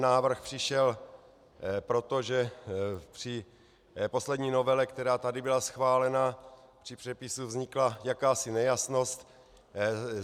Návrh přišel proto, že při poslední novele, která tady byla schválena, při přepisu vznikla jakási nejasnost.